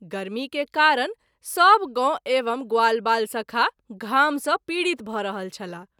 गर्मी के कारण सभ गौ एवं ग्वालवाल सखा घाम सँ पीड़ित भ’ रहल छलाह।